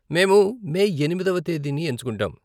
మేము మే ఎనిమిదవ తేదీని ఎంచుకుంటాం.